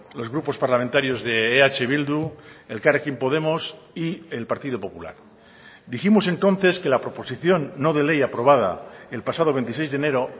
los grupos parlamentarios de eh bildu elkarrekin podemos y el partido popular dijimos entonces que la proposición no de ley aprobada el pasado veintiséis de enero